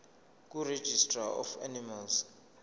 kuregistrar of animals